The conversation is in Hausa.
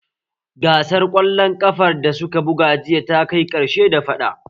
Gasar ƙwallon ƙafar da suka buga jiya ta kai ƙarshe da faɗa